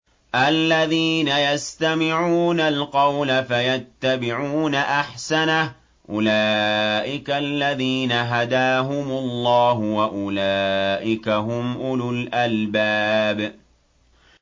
الَّذِينَ يَسْتَمِعُونَ الْقَوْلَ فَيَتَّبِعُونَ أَحْسَنَهُ ۚ أُولَٰئِكَ الَّذِينَ هَدَاهُمُ اللَّهُ ۖ وَأُولَٰئِكَ هُمْ أُولُو الْأَلْبَابِ